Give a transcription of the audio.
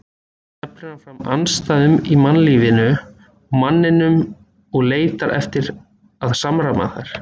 Þar teflir hann fram andstæðum í mannlífinu og manninum og leitar eftir að samræma þær.